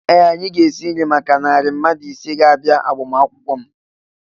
Ee! Anyị ga-esi nri maka narị mmadụ isii ga-abịa agbamakwụkwọ m.